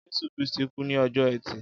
Jésù Krìstí kù ni ọjọ ẹti